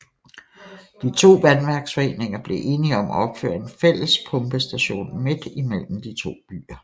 De to vandværksforeninger blev enige om at opføre en fælles pumpestation midt imellem de to byer